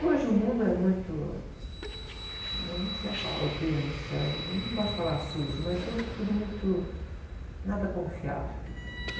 Hoje o mundo é muito... Né? Eu não sei a palavra, o termo certo, eu não gosto de falar sujo, mas hoje é tudo muito... Nada confiável.